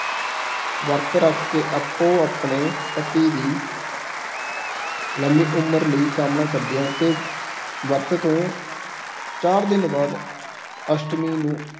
ਵਰਤ ਰੱਖ ਕੇ ਆਪੋ ਆਪਣੇ ਪਤੀ ਦੀ ਲੰਮੀ ਉਮਰ ਲਈ ਕਾਮਨਾ ਕਰਦੀਆਂ ਤੇ ਵਰਤ ਤੋਂ ਚਾਰ-ਦਿਨ ਬਾਅਦ ਅਸ਼ਟਮੀ ਨੂੰ